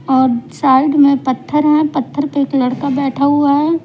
और साइड में पत्थर है पत्थर पे एक लड़का बैठा हुआ है।